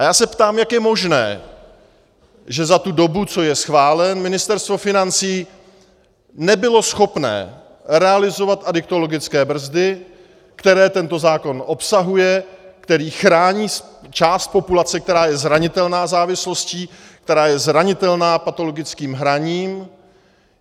A já se ptám, jak je možné, že za tu dobu, co je schválen, Ministerstvo financí nebylo schopné realizovat adiktologické brzdy, které tento zákon obsahuje, které chrání část populace, která je zranitelná závislostí, která je zranitelná patologickým hraním.